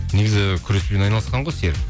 негізі күреспен айналысқан ғой серік